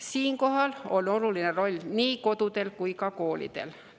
Siinkohal on oluline roll nii kodul kui ka koolil.